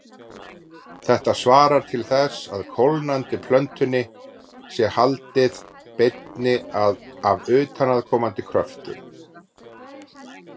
Þetta svarar til þess að kólnandi plötunni sé haldið beinni af utanaðkomandi kröftum.